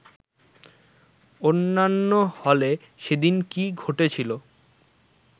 অন্যান্য হলে সেদিন কী ঘটেছিল